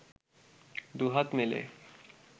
দুহাত মেলে